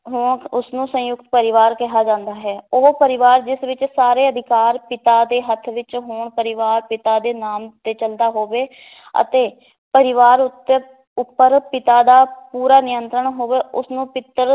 ਹੋ ਉਸ ਨੂੰ ਸੰਯੁਕਤ ਪਰਿਵਾਰ ਕਿਹਾ ਜਾਂਦਾ ਹੈ, ਉਹ ਪਰਿਵਾਰ ਜਿਸ ਵਿਚ ਸਾਰੇ ਅਧਿਕਾਰ ਪਿਤਾ ਦੇ ਹੱਥ ਵਿਚ ਹੋਣ ਪਰਿਵਾਰ ਪਿਤਾ ਦੇ ਨਾਮ ਤੇ ਚਲਦਾ ਹੋਵੇ ਅਤੇ ਪਰਿਵਾਰ ਉੱਤੇ ਉੱਪਰ ਪਿਤਾ ਦਾ ਪੂਰਾ ਨਿਯੰਤਰਣ ਹੋਵੇ ਉਸਨੂੰ ਪਿਤ੍ਰ